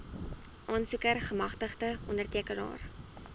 aansoeker gemagtigde ondertekenaar